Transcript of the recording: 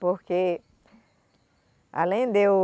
Porque, além de eu...